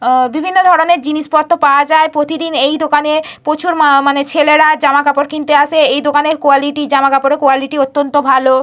উম বিভিন্ন ধরণের জিনিসপত্র পাওয়া যায়। প্রতিদিন এই দোকানে প্রচুর মা মানে ছেলেরা জামাকাপড় কিনতে আসে। এই দোকানের কোয়ালিটি জামাকাপড়ের কোয়ালিটি অত্যন্ত ভালো।